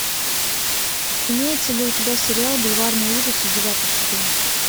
имеется ли у тебя сериал бульварные ужасы девятый сезон